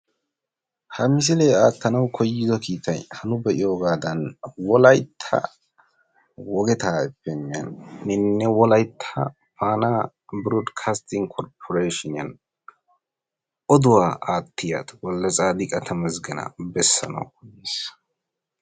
Ha misiliya aattanawu koyyiya kiitay ha nu be'iyogaadan wolaytta wogetaa Effi emmiyaninne wolaytta faanaa birood kastting korporeeshiniyan oduwa aattiya Wolddestaadiqa Tamasggeena bessanaassa.